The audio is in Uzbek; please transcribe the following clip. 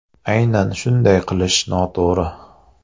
Aynan shunday qilish noto‘g‘ri.